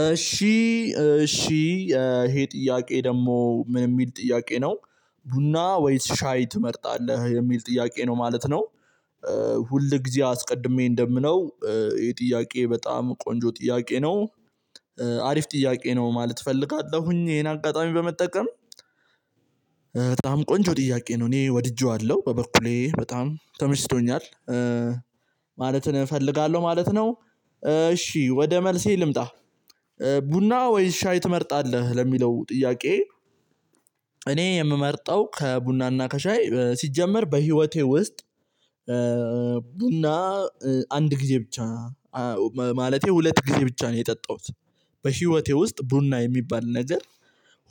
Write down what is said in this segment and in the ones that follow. እሺ እሺ ይሄ ጥያቄ ደግሞ ምን የሚል ጥያቄ ነው ቡና ወይስ ሻይ ትመርጣለህ የሚል ጥያቄ ነው ማለት ነው። ሁል ጊዜ አስቀድሜ እንደምለው የጥያቄ ጥያቄ በጣም ቆንጆ ጥያቄ ነው። አሪፍ ጥያቄ ነው ማለት እፈልጋለሁኝ ይሄን አጋጣሚ በመጠቀም በጣም ቆንጆ ጥያቄ ነው እኔ ወድጄዋለሁ በበኩሌ በጣም ተምችቶኛል ማለትን እፈልጋለሁ ማለት ነው። እሺ ወደ መልሴ ልምጣ። ቡና ወይስ ሻይ ትመርጣለህ ለሚለው ጥያቄ? እኔ የምመርጠው ከቡናና ከሻይ ሲጀመር በህይወቴ ውስጥ ቡና አንድ ጊዜ ብቻ ማለቴ ሁለት ጊዜ ብቻ ነው የጠጣሁት። በህይወቴ ውስጥ ቡና የሚባል ነገር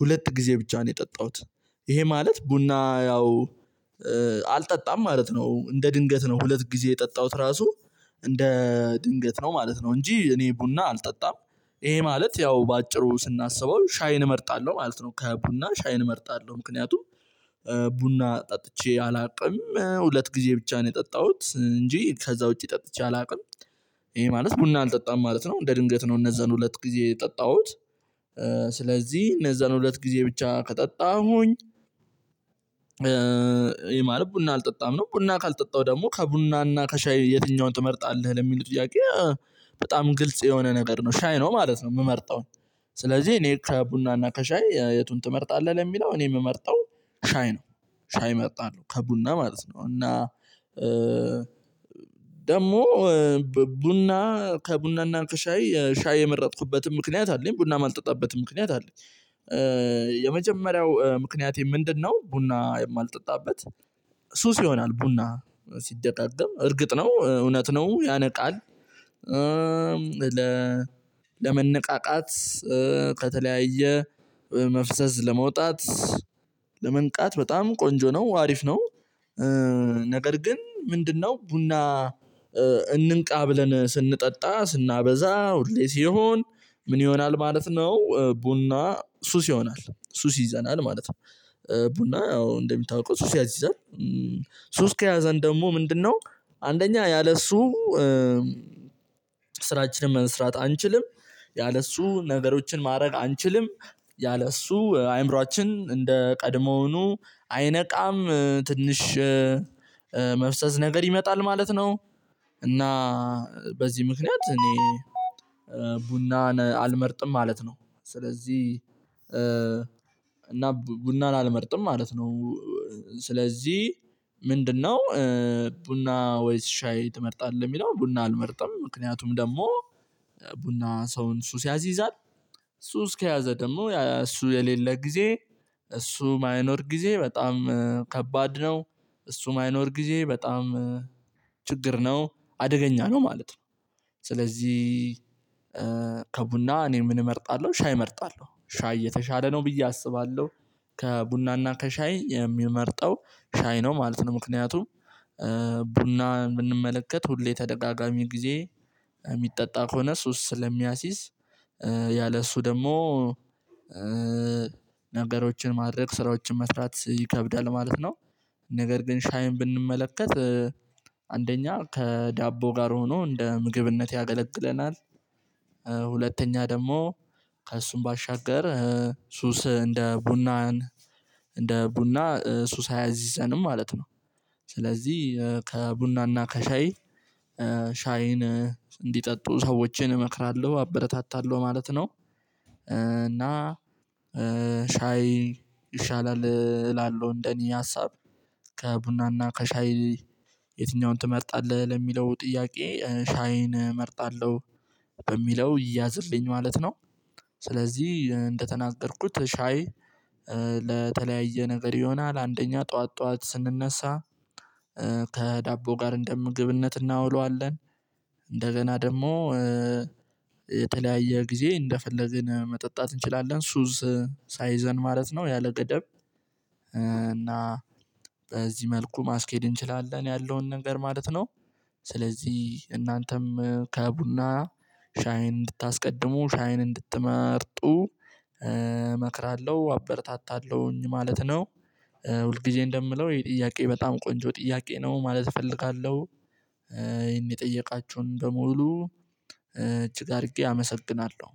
ሁለት ጊዜ ብቻ ነው የጠጣሁት። ይሄ ማለት ቡና ያው አልጠጣም ማለት ነው እንደ ድንገት ነው ሁለት ጊዜ የጠጣሁት ራሱ እንደ ድንገት ነው ማለት ነው እንጂ እኔ ቡና አልጠጣም። ይሄ ማለት ያው በአጭሩ ስናስበው ሻይን እመርጣለሁ ማለት ነው። ከቡና ሻይን እመርጣለሁ ምክንያቱም ቡና ጠጥቼ አላውቅም ሁለት ጊዜ ብቻ ነው የጠጣሁት እንጂ ከዛ ውጪ ጠጥቼ አላውቅም። ይሄ ማለት ቡና አልጠጣም ማለት ነው። እንደ ድንገት ነው እነዛን ሁለት ጊዜ የጠጣሁት ስለዚህ እነዛን ሁለት ጊዜ ብቻ ከጠጣሁኝ። ይሄ ማለት ቡና አልጠጣም ነው ቡና ካልጠጣው ደግሞ ከቡናና ከሻይ የትኛውን ትመርጣለህ ለሚለው ጥያቄ? በጣም ግልጽ የሆነ ነገር ነው ሻይ ነው ማለት ነው የምመርጠው። ስለዚህ እኔ ከቡና እና ከሻይ የቱን ትመርጣለህ ለሚለው እኔ የምመርጠው ሻይ ነው። ሻይ መርጣለሁ ከቡና ማለት ነው እና ደግሞ ቡና ከቡናና ከሻይ ሻይ የመረጥኩበትን ምክንያት አለኝ ቡናም ማልጠጣበትም ምክንያት አለኝ። የመጀመሪያው ምክንያቴ ምንድነው? ቡና የማልጠጣበት ሱስ ይሆናል ቡና ሲደጋገም እርግጥ ነው እውነት ነው ያነቃል። ለመነቃቃት ከተለያየ መፍዘዝ ለመውጣት ለመንቃት በጣም ቆንጆ ነው አሪፍ ነው። ነገር ግን ምንድነው ቡና እንንቃ ብለን ስንጠጣ ስናበዛ ሁሌ ሲሆን ምን ይሆናል ማለት ነው? ቡና ሱስ ይሆናል ሱስ ይዘናል ማለት ነው። ቡና አዎ እንደሚታውቀው ሱስ ያሲዛል። ሱስ ከያዘን ደግሞ ምንድነው? አንደኛ ያለሱ ስራችንን መስራት አንችልም። ያለሱ ነገሮችን ማድረግ አንችልም። ያለእሱ አይምሮአችን እንደ ቀድሞኑ አይነቃም ትንሽ መፍዘዝ ነገር ይመጣል ማለት ነው። እና በዚህ ምክንያት እኔ ቡናን አልመርጥም ማለት ነው። ስለዚህ እና ቡናን አልመርጥም ማለት ነው። ስለዚህ ምንድነው? ቡና ወይስ ሻይ ትመርጣለህ የሚለው ቡና አልመርጥም ምክንያቱም ደግሞ ቡና ሰውን ሱስ ያሲዛል። ሱስ ከያዘ ደግሞ እሱ የሌለ ጊዜ እሱ የማይኖር ጊዜ በጣም ከባድ ነው። እሱ ማይኖር ጊዜ በጣም ችግር ነው አደገኛ ነው ማለት ነው። ስለዚህ ከቡና እኔም ምን እመርጣለሁ ሻይ እመርጣለሁ ሻይ የተሻለ ነው ብዬ አስባለሁ። ከቡናና ከሻይ የምመርጠው ሻይ ነው ማለት ነው። ምክንያቱም ቡና ብንመለከት ሁሌ ተደጋጋሚ ጊዜ የሚጠጣ ከሆነ ሱስ ስለሚያዝ። ያለ እሱ ደግሞ ነገሮችን ማድረግ ስራዎችን መስራት ይከብዳል ማለት ነው። ነገር ግን ሻይን ብንመለከት አንደኛ ከዳቦ ጋር ሆኖ እንደ ምግብነት ያገለግለናል። ሁለተኛ ደግሞ ከእሱም ባሻገር ሱስ እንደ ቡናን እንደ ቡና ሱስ አያሲዘንም ማለት ነው። ስለዚህ ከቡናና ከሻይ ሻይን እንዲጠጡ ሰዎችን እመክራለሁ አበረታታለሁ ማለት ነው። እና ሻይ ይሻላል እላለሁ እንደኔ ሀሳብ ከቡናና ከሻይ የትኛውን ትመርጣለህ ለሚለው ጥያቄ ሻይን እመርጣለሁ። በሚለው ይያዝልኝ ማለት ነው። ስለዚህ እንደተናገርኩት ሻይ ለተለያየ ነገር ይሆናል አንደኛ ጠዋት ጠዋት ስንነሳ ከዳቦ ጋር እንደ ምግብነት እናውለዋለን። እንደገና ደግሞ የተለያየ ጊዜ እንደፈለግን መጠጣት እንችላለን ሱስ ሳይዘን ማለት ነው። ያለ ገደብ እና በዚህ መልኩ ማስኬድ እንችላለን ያለውን ነገር ማለት ነው። ስለዚህ እናንተም ከቡና ሻይን እንድታስቀድሙ ሻይን እንድትመርጡ እመክራለሁ አበርታታለሁኝ ማለት ነው። ሁል ጊዜ እንደምለው ይሄ ጥያቄ በጣም ቆንጆ ጥያቄ ነው ማለት እፈልጋለሁ። ይሄን የጠየቃችሁን በሙሉ እጅግ አድርጌ አመሰግናለሁ